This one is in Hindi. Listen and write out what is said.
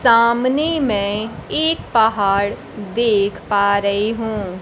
सामने मैं एक पहाड़ देख पा रही हूं।